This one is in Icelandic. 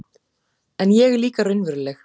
En ég er líka raunveruleg